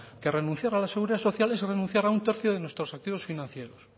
que renunciar a la seguridad social es renunciar a un tercio de nuestros activos financieros